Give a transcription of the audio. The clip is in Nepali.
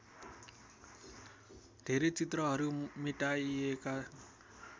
धेरै चित्रहरू मेटाइएका